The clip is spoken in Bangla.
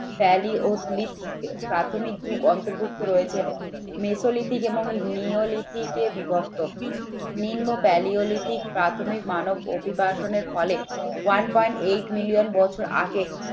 প্যালিওলিথিক প্রাথমিক যুগ অন্তর্ভুক্ত রয়েছে মেসোলিথিক এবং নিওলিথিকে বিভক্ত। নিম্ প্যালিওলিথিক প্রাথমিক মানব অভিবাসনের ফলে one point eight million বছর আগে